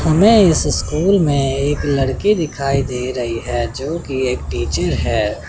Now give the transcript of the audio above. हमें इस स्कूल में एक लड़की दिखाई दे रही है जोकि एक टीचर है।